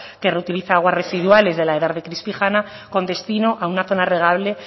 que reutiliza aguas residuales de la edar de crispijana con destino a una zona regable